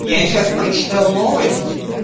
я сейчас прочитал новость